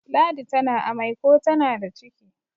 ladi tana amai ko tana da ciki